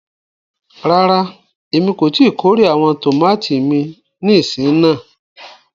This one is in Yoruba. Ràrà, ẹ̀mi kò ti kòrè awọn tomati mi nísìn náà.